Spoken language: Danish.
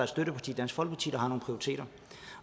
støtteparti dansk folkeparti der har nogle prioriteter